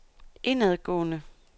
indadgående